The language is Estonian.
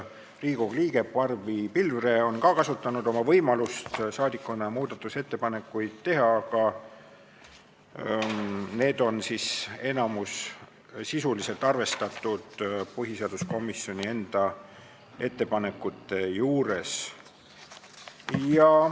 Riigikogu liige Barbi Pilvre on ka kasutanud oma võimalust saadikuna muudatusettepanekuid teha, aga need on enamikus sisuliselt arvestatud põhiseaduskomisjoni enda ettepanekutes.